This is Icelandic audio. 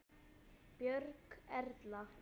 Björg Erla.